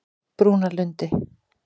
Brúnalundi